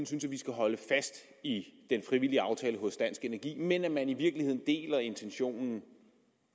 synes at vi skal holde fast i den frivillige aftale hos dansk energi men at man i virkeligheden deler intentionen